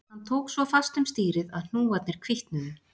Hann tók svo fast um stýrið að hnúarnir hvítnuðu